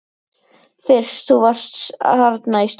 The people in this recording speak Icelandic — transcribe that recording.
Fyrst þú varst þarna í stofunni.